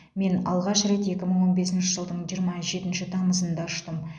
мен алғаш рет екі мың он бесінші жылдың жиырма жетінші тамызында ұштым